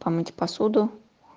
помыть посуду